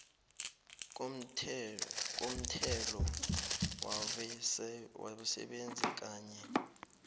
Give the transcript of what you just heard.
komthelo wabasebenzi kanye